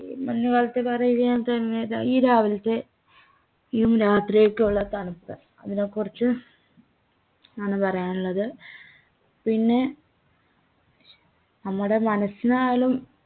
ഏർ മഞ്ഞുകാലത്തെ പറയുകയാതന്നെ ഈ രാവിൽത്തെ യും രാത്രിയൊക്കെ ഉള്ള തണുപ്പ് അതിനെകുറിച്ച് ആണ് പറയാനുള്ളത് പിന്നെ നമ്മുടെ മനസിനായാലും